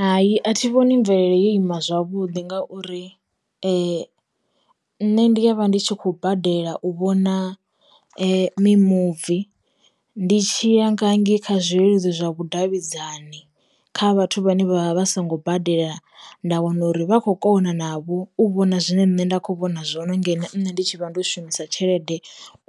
Hai a thi vhoni mvelele ya ima zwavhuḓi ngauri, nne ndi ya vha ndi tshi khou badela u vhona mimuvi ndi tshi ya nga ngei kha zwileludzi zwa vhudavhidzani kha vhathu vhane vha vha songo badela nda wana uri vha khou kona navho u vhona zwine nṋe nda kho vhona zwo no ngeno nne ndi tshivha ndo shumisa tshelede